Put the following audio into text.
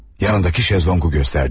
Yanındakı şezlonqu göstərdi.